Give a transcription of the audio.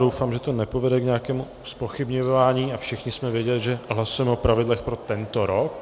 Doufám, že to nepovede k nějakému zpochybňování a všichni jsme věděli, že hlasujeme o pravidlech pro tento rok.